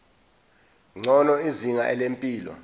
ngcono izinga lempilo